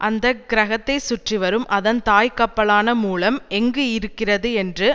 அந்த கிரகத்தைச் சுற்றிவரும் அதன் தாய்க்கப்பலான மூலம் எங்கு இருக்கிறது என்று